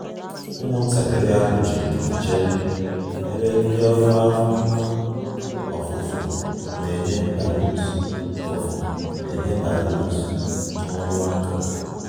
Ụmụntakịrị ahụ ji ndidi chere ebe ndị ọrụ afọ ofufo na-enye balloons ofufo na-enye balloons na ọrụ aka